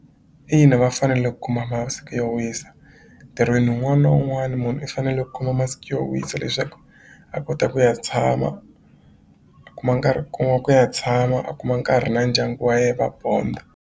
Ina va fanele kuma masiku yo wisa ntirhweni wun'wani na wun'wani munhu i fanele kuma masiku yo wisa leswaku a kota ku ya tshama a kuma nkarhi kuma ku ya tshama a kuma nkarhi na ndyangu wa ye va bond-a.